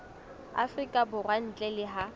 afrika borwa ntle le ha